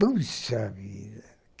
Puxa vida!